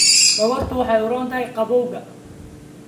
dhogortu waxay u roon tahay qabowga.